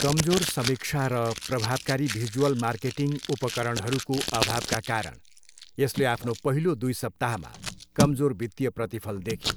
कमजोर समीक्षा र प्रभावकारी भिजुअल मार्केटिङ उपकरणहरूको अभावका कारण, यसले आफ्नो पहिलो दुई सप्ताहमा कमजोर वित्तीय प्रतिफल देख्यो।